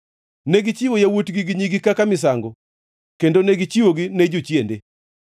Negichiwo yawuotgi gi nyigi kaka misango, kendo negichiwogi ne jochiende.